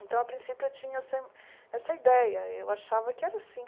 Então, a princípio, eu tinha essa essa ideia, eu achava que era assim.